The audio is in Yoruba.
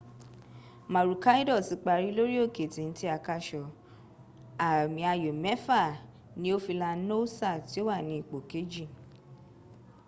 maroochydore ti parí lórí òkè téńté àkàsọ̀ àmì ayò mẹ́fà ni ó fi la noosa tí o wà ni ipò kejì